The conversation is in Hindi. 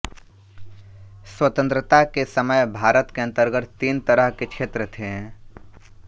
स्वतंत्रता के समय भारत के अन्तर्गत तीन तरह के क्षेत्र थे